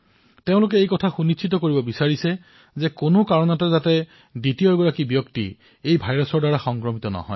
তেওঁলোকে এয়া সুনিশ্চিত কৰিব বিচাৰিছে যে আন কোনো লোক যাতে এই ভাইৰাছৰ দ্বাৰা সংক্ৰমিত নহয়